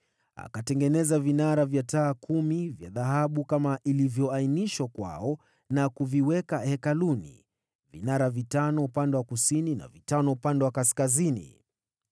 Akatengeneza vinara vya taa kumi vya dhahabu kama ilivyoainishwa kwao na kuviweka hekaluni, vinara vitano upande wa kusini na vitano upande wa kaskazini.